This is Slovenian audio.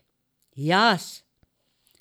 Jaz?